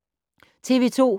TV 2